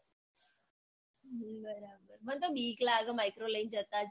હમ બરાબર મન તો બીક લાગે micro લઇન જતા જ